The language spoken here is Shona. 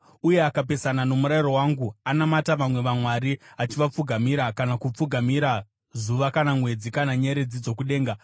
uye akapesana nomurayiro wangu anamata vamwe vamwari, achivapfugamira kana kupfugamira zuva kana mwedzi kana nyeredzi dzokudenga,